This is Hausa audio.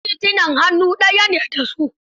Wasu titunan hannu daya ne da su.